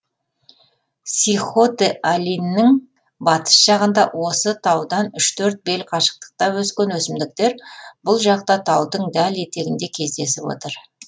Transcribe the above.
сихотэ алиньнің батыс жағында осы таудан үш төрт бел қашықтықта өскен өсімдіктер бұл жақта таудың дәл етегінде кездесіп отыр